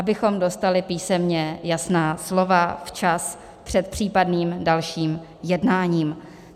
abychom dostali písemně jasná slova včas před případným dalším jednáním.